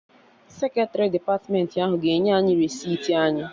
Seketrị depatmentị ahụ ga-enye anyị resiti anyị